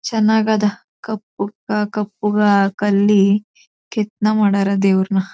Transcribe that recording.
ಚನ್ನಗದ ಕಪ್ಪು ಕಪ್ಪಗ ಕಲ್ಲಿ ಕೆತ್ತನೆ ಮಾಡರ ದೇವರುನಾ.